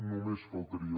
només faltaria